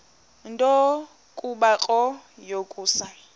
nto kubarrow yokusa